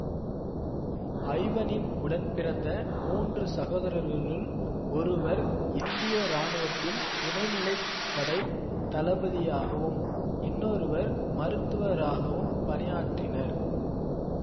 ஐவனின் உடன்பிறந்த மூன்று சகோதரர்களுள் ஒருவர் இந்திய இராணுவத்தில் துணைநிலை படை தளபதியாகவும் இன்னொருவர் மருத்துவராகவும் பணியாற்றினர்